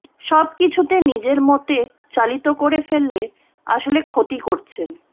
সব কিছুতে নিজের মতে চালিত করে ফেলে আসলে ক্ষতি করছেন